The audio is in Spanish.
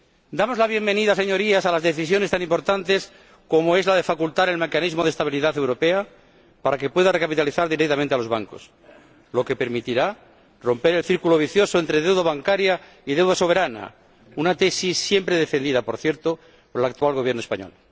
Damos la bienvenida, Señorías, a decisiones tan importantes como la de facultar al Mecanismo Europeo de Estabilidad para que pueda recapitalizar directamente a los bancos, lo que permitirá romper el círculo vicioso entre deuda bancaria y deuda soberana, una tesis siempre defendida, por cierto, por el actual Gobierno español.